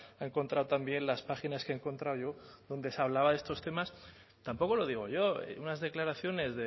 ha encontrado también las páginas que he encontrado yo donde se hablaba de estos temas tampoco lo digo yo unas declaraciones